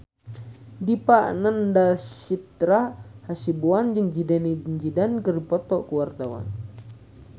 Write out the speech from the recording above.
Dipa Nandastyra Hasibuan jeung Zidane Zidane keur dipoto ku wartawan